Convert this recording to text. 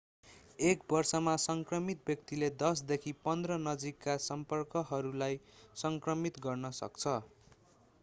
एक वर्षमा संक्रमित व्यक्तिले 10 देखि 15 नजिकका सम्पर्कहरूलाई संक्रमित गर्न सक्छ